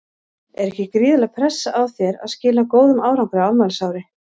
Er ekki gríðarleg pressa á þér að skila góðum árangri á afmælisári?